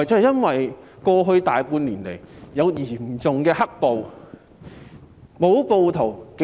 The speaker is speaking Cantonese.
因為過去大半年來有嚴重"黑暴"。